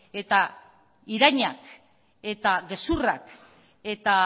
eta irainak eta gezurrak eta